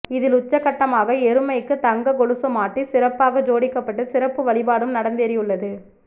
இதில் உச்சகட்டமாக எருமைக்கு தங்க கொலுசு மாட்டி சிறப்பாக ஜோடிக்கப்பட்டு சிறப்பு வழிபாடும் நடந்தேறியுள்ளது